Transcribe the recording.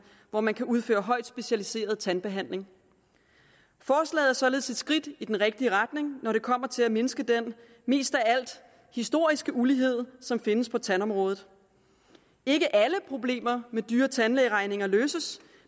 hvor man kan udføre højt specialiseret tandbehandling forslaget er således et skridt i den rigtige retning når det kommer til at mindske den mest af alt historiske ulighed som findes på tandområdet ikke alle problemer med dyre tandlægeregninger løses